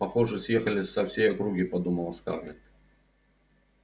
похоже съехались со всей округи подумала скарлетт